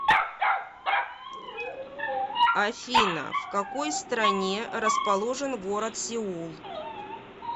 афина в какой стране расположен город сеул